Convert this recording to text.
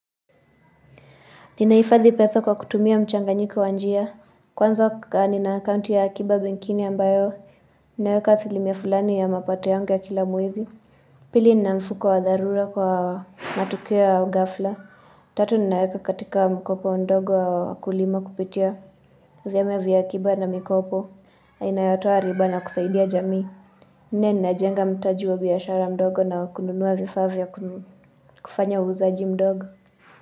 Ninahifadhi pesa kwa kutumia mchanganjiko wa njia. Kwanza nina akaunti ya akiba benkini ambayo ninaweka asilimia fulani ya mapato yangu ya kila mwezi. Pili nina mfuko wa dharura kwa matukio ya ughafla. Tatu ninaweka katika mkopo ndogo wa wakulima kupitia. Vyama vya akiba na mikopo. Inayotoa riba na kusaidia jamii. Nne ninajenga mtaji wa biashara ndogo na kununua vifaa vya kufanya uuzaji mdogo.